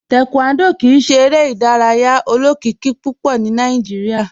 Taekwondo kìí ṣè èrè idàrayà olókìkí púpọ̀ ní Nàìjíríà.